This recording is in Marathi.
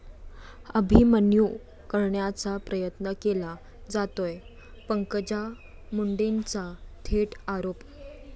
अभिमन्यू करण्याचा प्रयत्न केला जातोय, पंकजा मुंडेंचा थेट आरोप